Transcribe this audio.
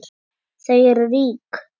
Þau eru rík.